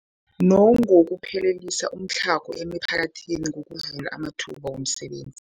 Nangokuphelisa umtlhago emiphakathini ngokuvula amathuba wemisebenzi.